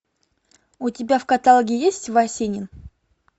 у тебя в каталоге есть васенин